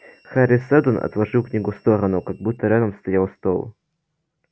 хари сэлдон отложил книгу в сторону как будто рядом стоял стол